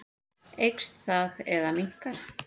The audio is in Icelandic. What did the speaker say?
Eykst það eða minnkar?